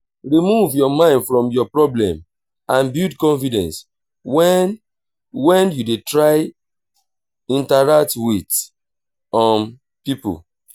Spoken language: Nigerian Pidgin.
remove your mind from your problem and build confidence when when you dey try interact with um pipo